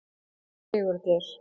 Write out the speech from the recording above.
Sigurgeir